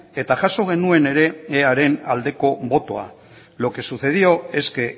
eta jaso genuen ere earen aldeko botoa lo que sucedió es que